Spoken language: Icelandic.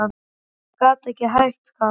Ég bara gat ekki hætt, Kamilla.